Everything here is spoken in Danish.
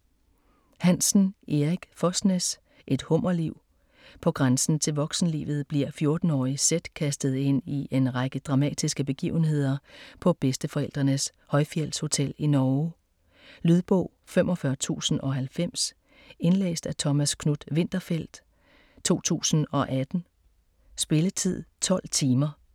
Hansen, Erik Fosnes: Et hummerliv På grænsen til voksenlivet bliver 14-årige Sedd kastet ind i en række dramatiske begivenheder på bedsteforældrenes højfjeldshotel i Norge. Lydbog 45090 Indlæst af Thomas Knuth-Winterfeldt, 2018. Spilletid: 12 timer, 0 minutter.